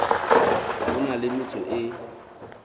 a na le metso e